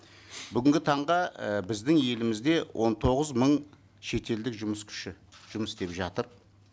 бүгінгі таңда і біздің елімізде он тоғыз мың шетелдік жұмыс күші жұмыс істеп жатыр